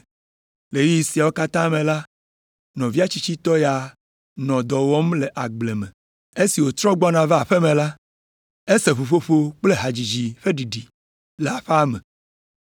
“Le ɣeyiɣi siawo katã me la, nɔvia tsitsitɔ ya nɔ dɔ wɔm le agble me. Esi wòtrɔ gbɔna va aƒe me la, ese ʋuƒoƒo kple hadzidzi ƒe ɖiɖi le aƒea me,